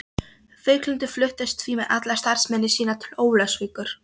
Víglundur fluttist því með alla starfsemi sína til Ólafsvíkur.